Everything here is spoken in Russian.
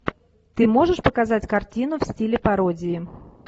ты можешь показать картину в стиле пародии